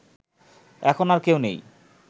এখন আর কেউ নেই